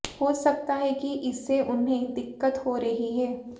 हो सकता है कि इससे उन्हें दिक्कत हो रही है